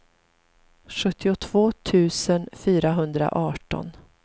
sjuttiotvå tusen fyrahundraarton